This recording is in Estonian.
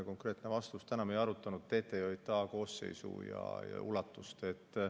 Konkreetne vastus: me ei arutanud TTJA koosseisu ja ulatust.